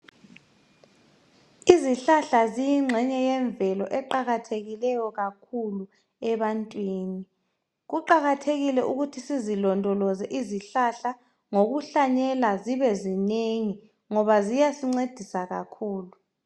Izihlahla ziyingxenye yemvelo eqakathekileyo kakhulu ebantwini. Kuqakathekile ukuthi sizilondoloze izihlahla ngokuhlanyela zibe zinengi ngoba ziyasincedisa kakhulu.